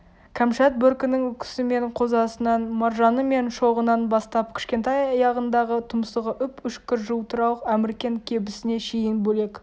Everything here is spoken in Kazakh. кәмшат бөркінің үкісі мен қозасынан маржаны мен шоғынан бастап кішкентай аяғындағы тұмсығы үп-үшкір жылтырауық әміркен кебісіне шейін бөлек